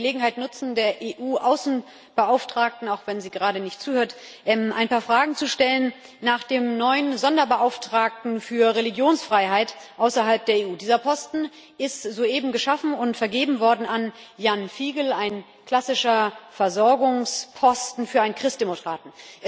Ich möchte die Gelegenheit nutzen, der EU Außenbeauftragten auch wenn sie gerade nicht zuhört ein paar Fragen nach dem neuen Sonderbeauftragten für Religionsfreiheit außerhalb der EU zu stellen. Dieser Posten ist soeben geschaffen und vergeben worden an Ján Figeľ ein klassischer Versorgungsposten für einen Christdemokraten.